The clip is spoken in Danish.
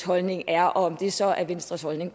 holdning er og om det så er venstres holdning